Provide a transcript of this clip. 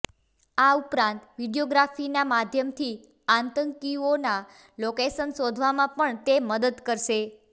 આ ઉપરાંત વીડિયોગ્રાફીના માધ્યમથી આતંકીઓના લોકેશન શોધવામાં પણ તે મદદ કરશે